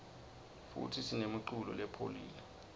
futsi sinemuculo lepholile